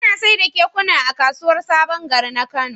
Ana saida kekuna a kasuwar sabon gari na kano